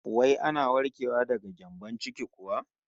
Wai ana warkewa daga gyambon ciki kuwa?